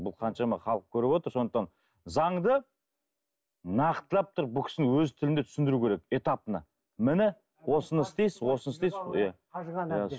бұл қаншама халық көріп отыр сондықтан заңды нақтылап тұрып бұл кісінің өз тілінде түсіндіру керек этапно міне осыны істейсіз осыны істейсіз иә